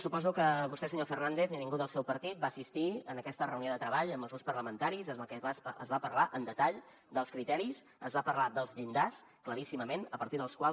suposo que vostè senyor fernández ni ningú del seu partit va assistir en aquesta reunió de treball amb els grups parlamentaris en la que es va parlar en detall dels criteris es va parlar dels llindars claríssimament a partir dels quals